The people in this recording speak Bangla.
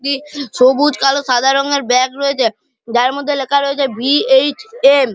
টি সবুজ কালো সাদা রঙের ব্যাগ রয়েছে যার মধ্যে লেখা রয়েছে ভি.এইচ.এম. ।